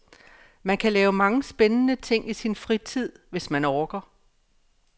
Man kan lave mange spændende ting i sin fritid, hvis man orker.